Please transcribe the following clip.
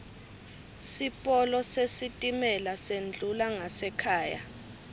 sipolo sesitimela sendlula ngasekhaya